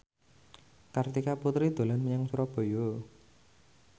Kartika Putri dolan menyang Surabaya